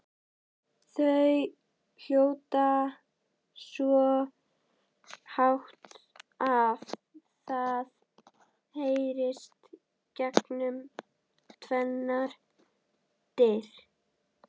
Þau hrjóta svo hátt að það heyrist gegnum tvennar dyr!